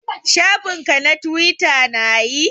Shafin ka na twita na yi?